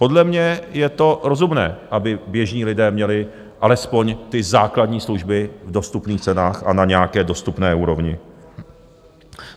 Podle mě je to rozumné, aby běžní lidé měli alespoň ty základní služby v dostupných cenách a na nějaké dostupné úrovni.